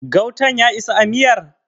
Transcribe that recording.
gautan ya isa a miyar?